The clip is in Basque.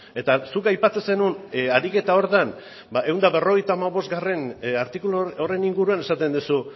eta zuk aipatzen zenuen ariketa horretan ba ehun eta berrogeita hamabostgarrena artikulu horren inguruan esaten duzu